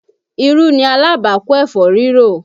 Irú ni alábàákú ẹ̀fọ́ rírò